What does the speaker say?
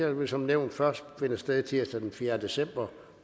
vil som nævnt først finde sted tirsdag den fjerde december